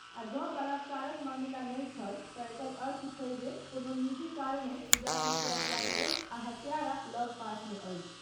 आ जँ बलात्कारक मामिला नहि छल तँ एकर अर्थ छै जे कोनो निजी कारणे पूजाक हत्या कयल गेल आ हत्यारा लगपासमे अछि।